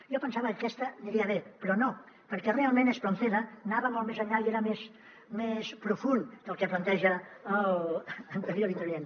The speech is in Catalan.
jo pensava que aquesta aniria bé però no perquè realment espronceda anava molt més enllà i era més profund que el que planteja l’anterior intervinent